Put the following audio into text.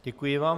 Děkuji vám.